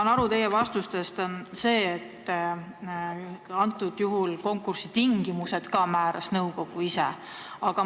Ma sain teie vastustest aru, et antud juhul määras ka konkursitingimused nõukogu ise.